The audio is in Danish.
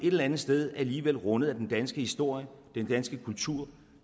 et eller andet sted alligevel rundet af den danske historie den danske kultur